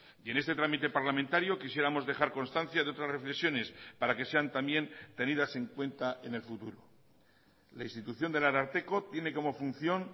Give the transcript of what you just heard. y en este trámite parlamentario quisiéramos dejar constancia de otras reflexiones para que sean también tenidas en cuenta en el futuro la institución del ararteko tiene como función